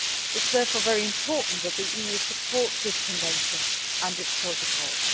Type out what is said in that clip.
It is therefore very important that the EU supports this convention and its protocols.